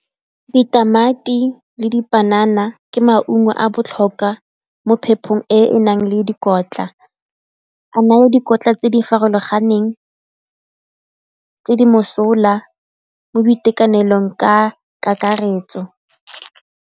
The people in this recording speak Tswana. Ditamati le dipanana ke maungo a botlhokwa mo phephong e e nang le dikotla, a naya dikotla tse di farologaneng mosola mo boitekanelong ka kakaretso.